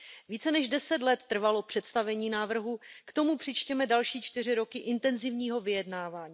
Více než deset let trvalo představení návrhu, k tomu přičtěme další čtyři roky intenzivního vyjednávání.